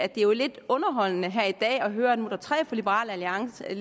at det jo er lidt underholdende her i dag at høre at der nu er tre fra liberal alliance i